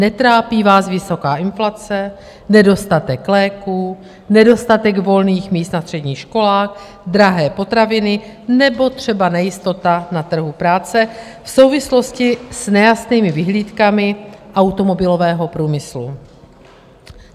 Netrápí vás vysoká inflace, nedostatek léků, nedostatek volných míst na středních školách, drahé potraviny nebo třeba nejistota na trhu práce v souvislosti s nejasnými vyhlídkami automobilového průmyslu.